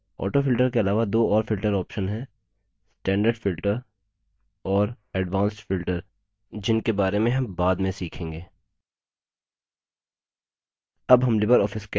autofilter के अलावा दो और filter options हैं standard filter और advanced filter जिनके बारे में हम बाद में सीखेंगे